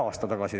No poolteist.